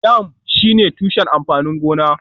Yam shine tushen amfanin gona